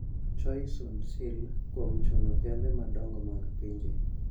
Choi Soon-sil, kuom chuno kembe madongo mag pinje ,